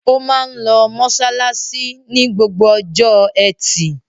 Ó máa ń lọ mọ́ṣáláṣí ní gbogbo ọjọ́ ẹtì.